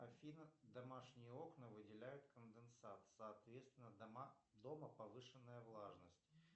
афина домашние окна выделяют конденсат соответственно дома повышенная влажность